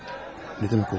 Nə demək olur bu?